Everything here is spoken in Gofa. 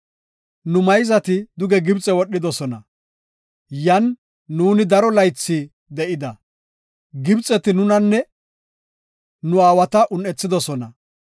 Nu mayzati duge Gibxe wodhidosona; yan nuuni daro laythi de7ida. Gibxeti nunanne nu aawata un7ethidosona.